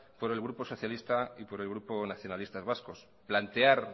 por el grupo socialista y por el grupo nacionalista vascos plantear